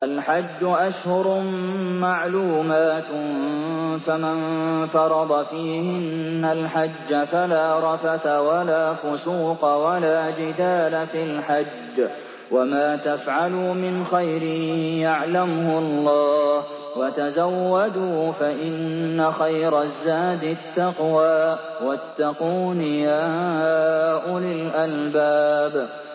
الْحَجُّ أَشْهُرٌ مَّعْلُومَاتٌ ۚ فَمَن فَرَضَ فِيهِنَّ الْحَجَّ فَلَا رَفَثَ وَلَا فُسُوقَ وَلَا جِدَالَ فِي الْحَجِّ ۗ وَمَا تَفْعَلُوا مِنْ خَيْرٍ يَعْلَمْهُ اللَّهُ ۗ وَتَزَوَّدُوا فَإِنَّ خَيْرَ الزَّادِ التَّقْوَىٰ ۚ وَاتَّقُونِ يَا أُولِي الْأَلْبَابِ